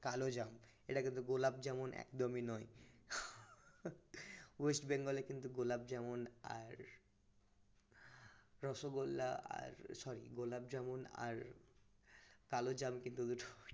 কালোজাম এটা কিন্তু গোলাপ যেমন একদমই নয় west bengal এ কিন্তু গোলাপ যেমন আর রসগোল্লা sorry গোলাপ জামুন আর কালো জাম কিন্তু